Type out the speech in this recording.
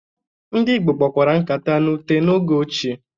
Ndị Igbo kpakwara nkata na ute n'oge ochie.